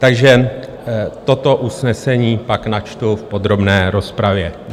Takže toto usnesení pak načtu v podrobné rozpravě.